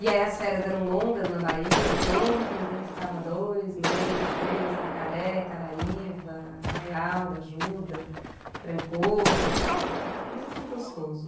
E aí as férias eram longas na Bahia, sempre, então ficava dois meses, três meses em Itacaré, Caraíba, Arraial d'Ajuda, Trancoso, muito gostoso.